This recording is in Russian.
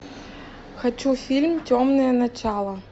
хочу фильм темное начало